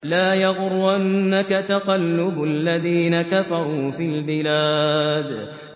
لَا يَغُرَّنَّكَ تَقَلُّبُ الَّذِينَ كَفَرُوا فِي الْبِلَادِ